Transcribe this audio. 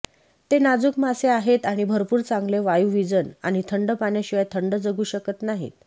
ते नाजूक मासे आहेत आणि भरपूर चांगले वायुवीजन आणि थंड पाण्याशिवाय थंड जगू शकत नाहीत